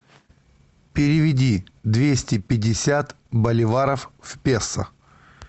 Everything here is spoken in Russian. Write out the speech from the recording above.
переведи двести пятьдесят боливаров в песо